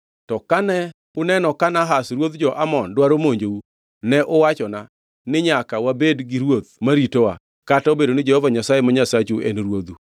“To kane uneno ka Nahash ruodh jo-Amon dwaro monjou, ne uwachona ni, ‘Nyaka wabed gi ruoth ma ritowa,’ kata obedo ni Jehova Nyasaye ma Nyasachu ne en ruodhu.